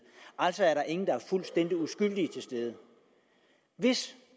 altså er der ingen der er fuldstændig uskyldige til stede hvis